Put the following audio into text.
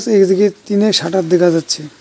এইদিকে টিনের শাটার দেখা যাচ্ছে।